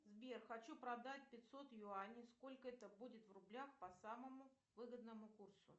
сбер хочу продать пятьсот юаней сколько это будет в рублях по самому выгодному курсу